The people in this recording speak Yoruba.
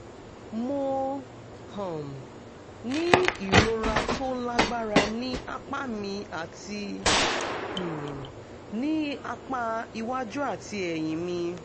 mo um ní ìrora tó lágbára ní apá mi àti um ní apá iwájú àti ẹ̀yìn mi